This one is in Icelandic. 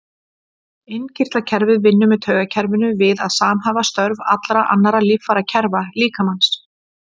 Innkirtlakerfið vinnur með taugakerfinu við að samhæfa störf allra annarra líffærakerfa líkamans.